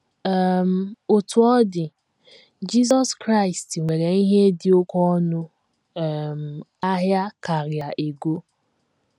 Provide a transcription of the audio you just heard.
um Otú ọ dị, Jizọs Kraịst nwere ihe dị oké ọnụ um ahịa karịa ego.